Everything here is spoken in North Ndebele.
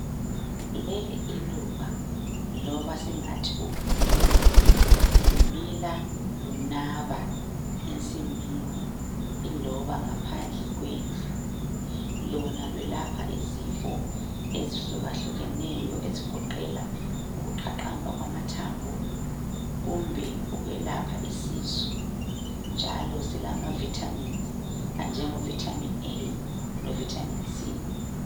leli iluba loba singathi ukhula lumila lunaba ensimini iloba ngaphandle kwendlu lona lwelapha izifo ezihlukahlukeneyo ezigoqela ukuqaqamba kwamathambo kumbe ukwelapha isisu njalo silama Vitamins njengo Vitamin A lo Vitamin C